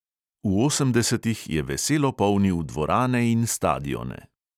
V osemdesetih je veselo polnil dvorane in stadione.